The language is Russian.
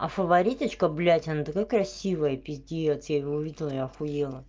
а фаворит очка что блядь она такая красивая пиздец я его видела ахуела